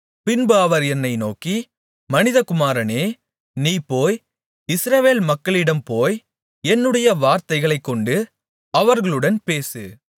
பின்பு அவர் என்னை நோக்கி மனிதகுமாரனே நீ போய் இஸ்ரவேல் மக்களிடம் போய் என்னுடைய வார்த்தைகளைக் கொண்டு அவர்களுடன் பேசு